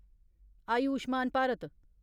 Ayushman Bharat